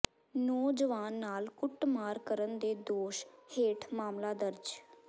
ਨੌਜਵਾਨ ਨਾਲ ਕੁੱਟਮਾਰ ਕਰਨ ਦੇ ਦੋਸ਼ ਹੇਠ ਮਾਮਲਾ ਦਰਜ